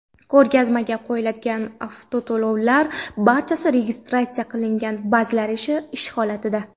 Ko‘rgazmaga qo‘yiladigan avtoulovlarning barchasi restavratsiya qilingan, ba’zilari ish holatida.